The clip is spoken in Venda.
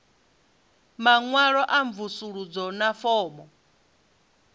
maṅwalo a mvusuludzo na fomo